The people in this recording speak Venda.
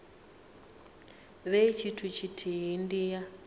vhe tshithu tshithihi ndi ya